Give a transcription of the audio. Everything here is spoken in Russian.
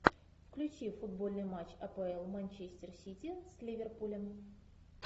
включи футбольный матч апл манчестер сити с ливерпулем